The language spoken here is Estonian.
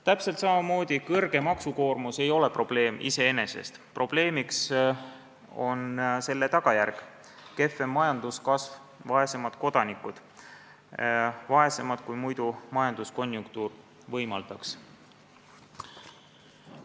Täpselt samamoodi ei ole suur maksukoormus probleem iseenesest, probleemiks on selle tagajärg: kehvem majanduskasv ja vaesemad kodanikud, vaesemad, kui majanduskonjunktuur võimaldaks.